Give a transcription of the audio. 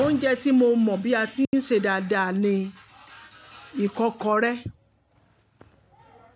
Oúnjẹ tí mo mọ̀ bí a ti ń ṣe dáadáa ni ìkọ́kọrẹ́.